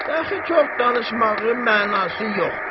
De axı çox danışmağın mənası yoxdur.